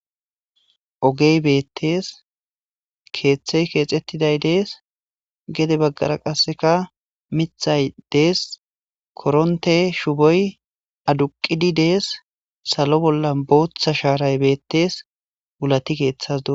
Ogey beettees keethey keexettiday dees gede baggara qassika mithay dees korontte shuboy aduqqidi dees.salo bolla booththa shaaray beettees wulati keethas doosona.